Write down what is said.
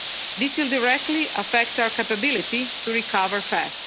This will directly affect our capability to recover fast.